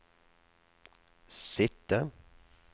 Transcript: sitte